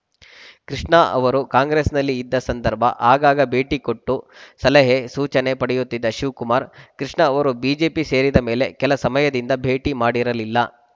ಕೃಷ್ಣ ಅವರು ಕಾಂಗ್ರೆಸ್‌ನಲ್ಲಿ ಇದ್ದ ಸಂದರ್ಭ ಆಗಾಗ ಭೇಟಿಕೊಟ್ಟು ಸಲಹೆ ಸೂಚನೆ ಪಡೆಯುತ್ತಿದ್ದ ಶಿವಕುಮಾರ್‌ ಕೃಷ್ಣ ಅವರು ಬಿಜೆಪಿ ಸೇರಿದ ಮೇಲೆ ಕೆಲ ಸಮಯದಿಂದ ಭೇಟಿ ಮಾಡಿರಲಿಲ್ಲ